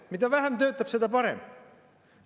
Mida vähem töötab, seda parem!